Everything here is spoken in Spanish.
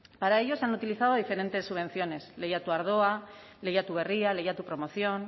para ello se han utilizado diferentes subvenciones lehiatu ardoa lehiatu berria lehiatu promoción